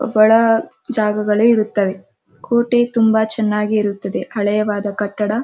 ಬಡ ಜಾಗ ಗಳು ಇರುತ್ತವೆ ಕುಟಿ ತುಂಬ ಚೆನ್ನಾಗಿ ಇರುತ್ತವೆ ತುಂಬ ಹಳೆದಾದ ಕಟ್ಟಡ--